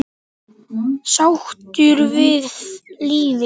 Sáttur við lífið.